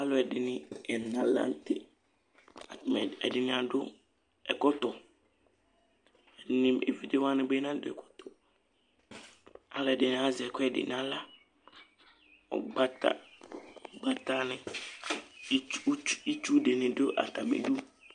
Alʋɛdìní ɛna la ntɛ Ɛdiní adu ɛkɔtɔ Evidze wani bi nadu ɛkɔtɔ Alʋɛdìní azɛ ɛkʋɛdi nʋ aɣla Ugbata ni, itsu dìní du atami idu